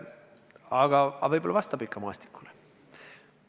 Aga võib-olla kaart ikka vastab maastikule.